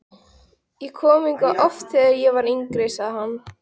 Ég kom hingað oft, þegar ég var yngri sagði hann.